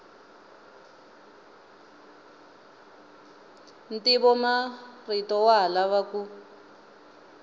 ntivomarito wa ha lava ku